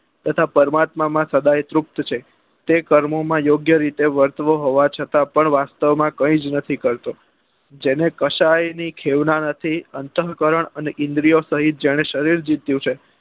તથા પરમાત્મા માં સાડા એ તૃપ્ત છે તે કર્મો માં યોગ્ય રીતે વર્તવ હોવા છતાં પણ વાસ્તવ માં કઈ જ નથી કરતો જેને કકશાય ની ખેવના નથી અન્ત્વ્ય કારણ અને ઈન્દ્રીઓ સહીત જાણે શરીર જીત્યું છે